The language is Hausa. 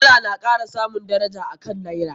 Dala na kara samun daraja a kan Naira.